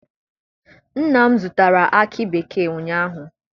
Nna m zụtara akị bekee ụnyaahụ.